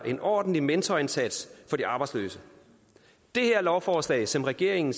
en ordentlig mentorindsats for de arbejdsløse det her lovforslag som regeringen